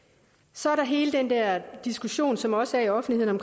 så er der hele den der diskussion som også er i offentligheden